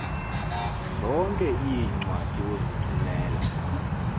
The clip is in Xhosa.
zonke iincwadi ozithumela